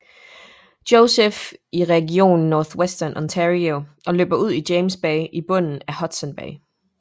Joseph i regionen Northwestern Ontario og løber ud i James Bay i bunden af Hudson Bay